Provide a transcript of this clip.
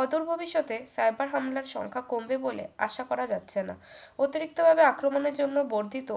অদূর ভবিষতে cyber হামলার সংখ্যা কমবে বলে আশা করা যাচ্ছে না অতিরিক্তভাবে আক্রমণের জন্য বর্ধিত